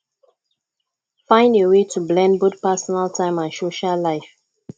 find a way to blend both personal time and social life